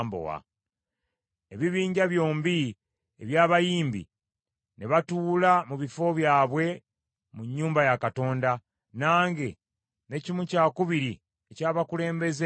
Ebibinja byombi eby’abayimbi ne batuula mu bifo byabwe mu nnyumba ya Katonda; nange ne kimu kyakubiri eky’abakulembeze ne tutuula,